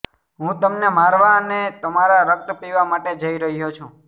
હું તમને મારવા અને તમારા રક્ત પીવા માટે જઈ રહ્યો છું